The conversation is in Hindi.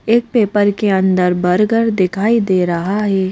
एक पेपर के अंदर बर्गर दिखाई दे रहा है।